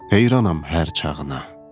Heyranam hər çağına.